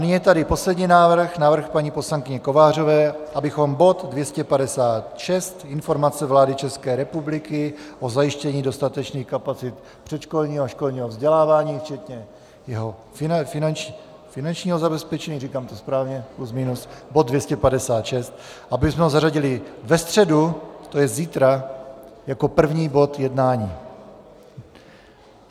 Nyní je tady poslední návrh, návrh paní poslankyně Kovářové, abychom bod 256, informace vlády České republiky o zajištění dostatečných kapacit předškolního a školního vzdělávání, včetně jeho finančního zabezpečení - říkám to správně, plus minus, bod 256, abychom ho zařadili ve středu, to je zítra, jako první bod jednání.